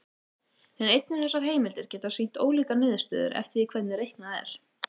En einnig þessar heimildir geta sýnt ólíkar niðurstöður eftir því hvernig reiknað er.